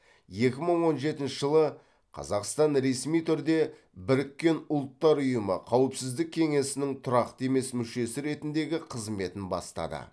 екі мың он жетінші жылы қазақстан ресми түрде біріккен ұлттар ұйымы қауіпсіздік кеңесінің тұрақты емес мүшесі ретіндегі қызметін бастады